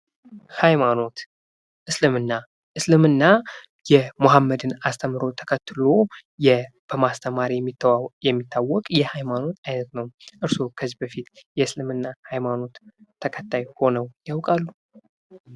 ሃይማኖት እስልምና እስልምና የሞሃመድን አስተምሮት ተከትሎ በማስተማር የሚታወቅ የሃይማኖት አይነት ነው:: እርሶ ከዚ በፊት የእስልምና ሃይማኖት ተከታይ ሆነው ያውቃሉ?